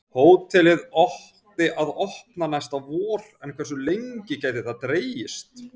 Hótelið átti að opna næsta vor en hversu lengi gæti það dregist?